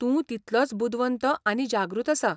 तूं तितलोच बुदवंत आनी जागृत आसा.